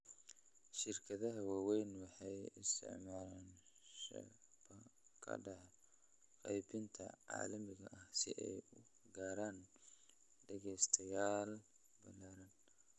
Shirkadaha waaweyni waxay isticmaalaan shabakadaha qaybinta caalamiga ah si ay u gaaraan dhagaystayaal ballaaran.